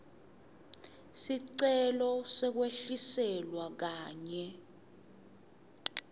sicelo sekwehliselwa kanye